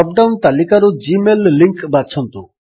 drop down ତାଲିକାରୁ Gmail link ବାଛନ୍ତୁ